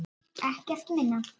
Ekkert minna.